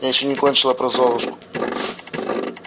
я ещё не кончила про золушку